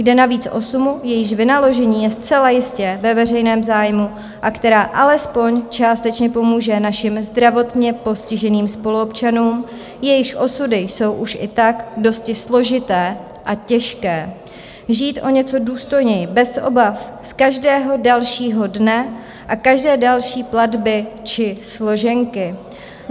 Jde navíc o sumu, jejíž vynaložení je zcela jistě ve veřejném zájmu a která alespoň částečně pomůže našim zdravotně postiženým spoluobčanům, jejichž osudy jsou už i tak dosti složité a těžké, žít o něco důstojněji bez obav z každého dalšího dne a každé další platby či složenky.